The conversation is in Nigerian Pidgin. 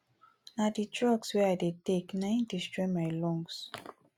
na the the drugs wey i dey take na im destroy my lungs